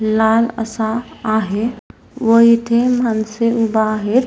लहान असा आहे व इथे माणसे उभा आहेत.